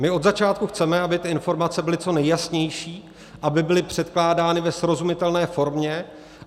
My od začátku chceme, aby ty informace byly co nejjasnější, aby byly předkládány ve srozumitelné formě.